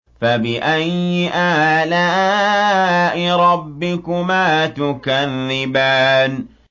فَبِأَيِّ آلَاءِ رَبِّكُمَا تُكَذِّبَانِ